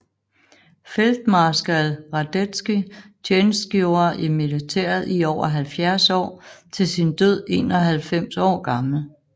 Feltmarskalk Radetzky tjenestgjorde i militæret i over 70 år til sin død 91 år gammel